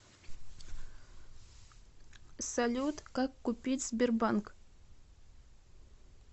салют как купить сбербанк